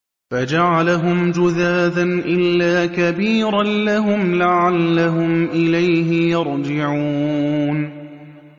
فَجَعَلَهُمْ جُذَاذًا إِلَّا كَبِيرًا لَّهُمْ لَعَلَّهُمْ إِلَيْهِ يَرْجِعُونَ